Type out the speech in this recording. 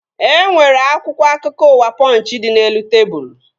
E nwere akwụkwọ akụkọ ụwa Pọnchị dị n'elu tebụl